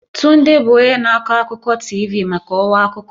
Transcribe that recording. Tunde bụ onye na-akọ akụkọ TV maka ọwa akụkọ.